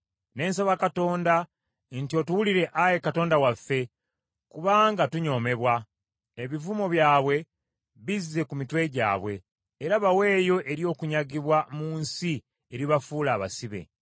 Ne nsaba Katonda nti, “Otuwulire Ayi Katonda waffe kubanga tunyoomebwa. Ebivumo byabwe bizze ku mitwe gyabwe bo, era baweeyo eri okunyagibwa mu nsi eribafuula abasibe.